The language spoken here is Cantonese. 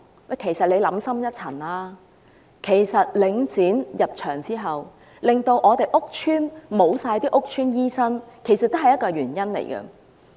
大家且想深一層，自從領展"入場"後，令屋邨完全沒有屋邨醫生，亦是原因之一。